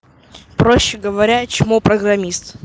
проще говоря чмо программист